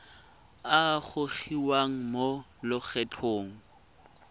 a a gogiwang mo lokgethong